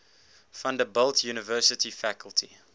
vanderbilt university faculty